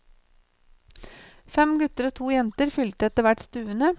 Fem gutter og to jenter fylte etterhvert stuene.